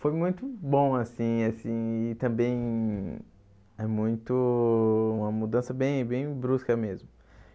Foi muito bom assim assim e também é muito uma mudança bem bem brusca mesmo.